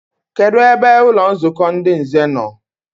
Kedụ ebe ụlọnzukọ ndị nze no?